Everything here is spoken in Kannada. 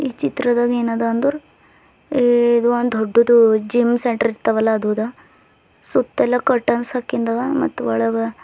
ಚಿತ್ರದಲ್ ಏನದ ಅಂದ್ರು ಈ ಇದೊಂದ್ ದೊಡ್ಡದು ಜಿಮ್ ಸೆಟ್ ಇರ್ತವಲ್ಲ ಅದು ಅದ ಸುತ್ತಲೂ ಕರ್ಟನ್ಸ್ ಹಾಕಂದವ ಮತ್ತು ಒಳಗ--